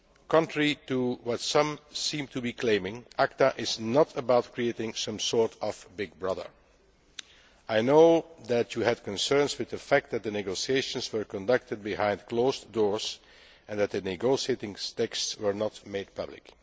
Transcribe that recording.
Contrary to what some seem to be claiming, ACTA is not about creating some sort of Big Brother'. I know that you had concerns with the fact that the negotiations were conducted behind closed doors and that the negotiating texts were not made public.